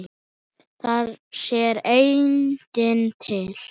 Þar sér enginn til.